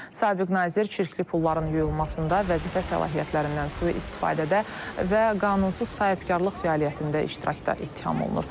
Sabig nazir çirkli pulların yuyulmasında, vəzifə səlahiyyətlərindən sui-istifadədə və qanunsuz sahibkarlıq fəaliyyətində iştirakda ittiham olunur.